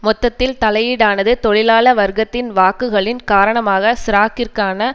மொத்தத்தில் தலையீடானது தொழிலாள வர்க்கத்தின் வாக்குகளின் காரணமாக சிராக்கிற்கான